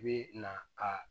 I bi na ka